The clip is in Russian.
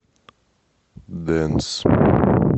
дэнс